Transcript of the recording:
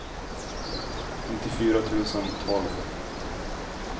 nittiofyra tusen tolv